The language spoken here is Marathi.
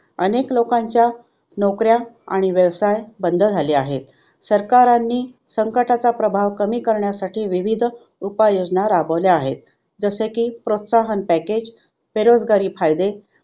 अनेक लोकांच्या नोकऱ्या आणि व्यवसाय बंद झाले आहेत. सरकारांनी संकटाचा प्रभाव कमी करण्यासाठी विविध उपाय योजना राबवल्या आहेत जस की प्रोत्साहन package, बेरोजगारी फायदे